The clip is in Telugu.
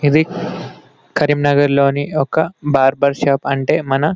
ఇది కరీంనగర్లోని ఒక బార్బర్ షాప్ అంటే మన--